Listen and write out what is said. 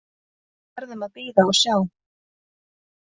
Við verðum að bíða og sjá